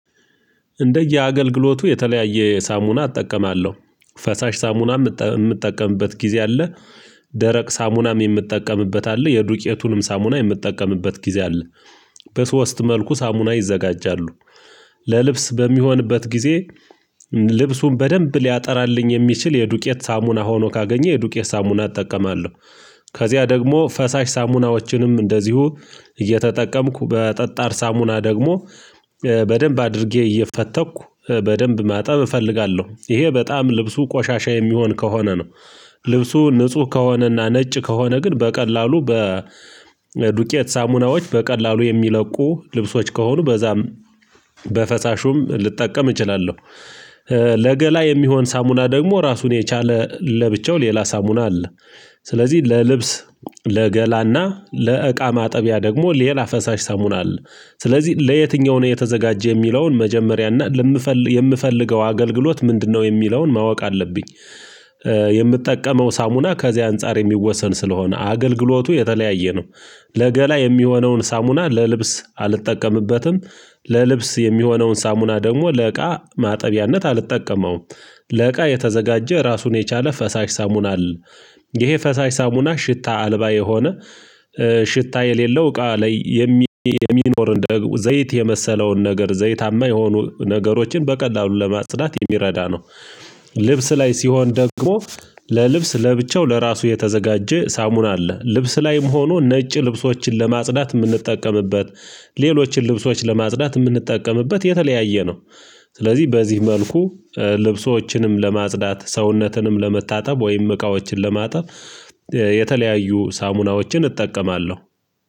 እንደየአገልግሎቱ የተለያየ ሳሙና አጠቀማለሁ። ፈሳሽ ሳሙናም ምጠቀምበት ጊዜ አለ። ደረቅ ሳሙናም የምትጠቀምበት አለ። የዱቄቱንም ሳሙና የምትጠቀምበት ጊዜ አለ። በሶስት መልኩ ሳሙና ይዘጋጃሉ። ለልብስ በሚሆንበት ጊዜ ልብሱን በደንብ ሊያጠራልኝ የሚችል የዱቄት ሳሙና ሆኖ ካገኘ የዱቄት ሳሙና እጠቀማለሁ ከዚያ ደግሞ ፈሳሽ ሳሙናዎችንም እንደዚሁ እየተጠቀምኩ በጠጣር ሳሙና ደግሞ በደንብ አድርጌ እየፈተኩ በደንብ ማጠብ እፈልጋለሁ ይሄ በጣም ልብሱ ቆሻሻ የሚሆን ከሆነ ነው። ልብሱ ንጹህ ከሆነና ነጭ ከሆነ ግን በቀላሉ በዱቄት ሳሙናዎች በቀላሉ የሚለቁ ልብሶች ከሆኑ በዛም በፈሳሹም ልጠቀም እችላለሁ። ለገላ የሚሆን ሳሙላ ደግሞ ራሱን የቻለ ለብቻው ሌላ ሳሙና አለ። ስለዚህ ለልብስ ለገላና ለእቃ ማጠቢያ ደግሞ ሌላ ፈሳሽ ሰሙና አለ። ስለዚህ ለየትኛው ነው የተዘጋጀ የሚለውን መጀመሪያና ለምፈል የምፈልገው አገልግሎት ምንድነው የሚለውን ማወቅ አለብኝ። የምጠቀመው ሳሙና ከዚያ አንፃር የሚወሰን ስለሆነ አገልግሎቱ የተለያየ ነው። ለገላ የሚሆነውን ሳሙና ለልብስ አልጠቀምበትም ለልብስ የሚሆነውን ሳሙና ደግሞ ለእቃ ማጠቢያነት አልጠቀመውም። ለእቃ የተዘጋጀ ራሱን የቻለ ፈሳሽ ሳሙና አለ። ይሄ ፈሳሽ ሳሙና ሽታ አልባ የሆነ ሽታ የሌለው እቃ ላይ የሚኖር እንደ ዘይት የመሰለውን ነገር ዘይታማ የሆኑ ነገሮችን በቀላሉ ለማጽዳት የሚረዳ ነው። ልብስ ላይ ሲሆን ደግሞ ለልብስ ለብቻው ለራሱ የተዘጋጀ ሳሙን አለ። ልብስ ላይም ሆኖ ነጭ ልብሶችን ለማጽዳት ምንጠቀምበት ሌሎችን ልብሶች ለማጽዳት ምንጠቀምበት የተለያየ ነው። ስለዚህ በዚህ መልኩ ልብሶችንም ለማጽዳት ሰውነትንም ለመታጠብ ወይም እቃዎችን ለማጠብ የተለያዩ ሳሙናዎችን እጠቀማለሁ።